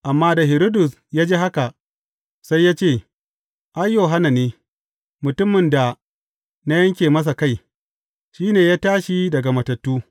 Amma da Hiridus ya ji haka, sai ya ce, Ai, Yohanna ne, mutumin da na yanke masa kai, shi ne ya tashi daga matattu!